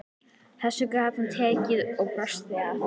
Þessu gat hann tekið og brosti að.